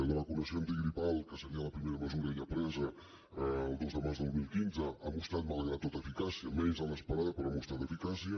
la vacunació antigripal que seria la primera mesura ja presa el dos de març del dos mil quinze ha mostrat malgrat tot eficàcia menys de l’esperada però ha mostrat eficàcia